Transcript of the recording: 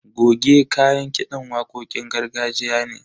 Goge kayan kiɗan waƙoƙin gargajiya ne.